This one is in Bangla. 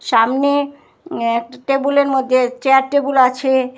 সামনে অ্যা একটা টেবুলের মধ্যে চেয়ার টেবুল আছে।